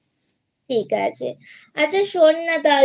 ঠিক আছে আচ্ছা শোন না তাহলে